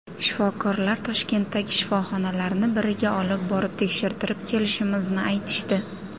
Shifokorlar Toshkentdagi shifoxonalarni biriga olib borib tekshirtirib kelishimizni aytishdi.